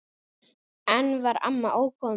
Enn var amma ókomin.